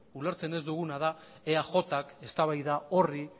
ulertzen ez duguna da eajk eztabaida horri